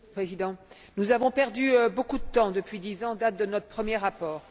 Monsieur le Président, nous avons perdu beaucoup de temps, depuis dix ans, date de notre premier rapport.